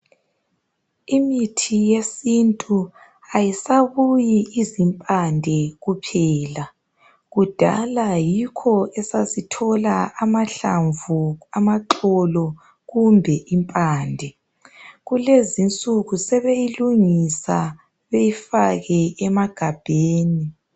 Imithi yesintu ayisabuyi izimpande kuphela. Kudala yikho esasithola amahlamvu, amaxolo kumbe impande. Kulezinsuku sebeyilungisa beyifake emagabheni.